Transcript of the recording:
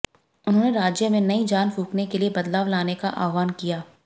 उन्होंने राज्य में नई जान फूंकने के लिए बदलाव लाने का आह्वान किया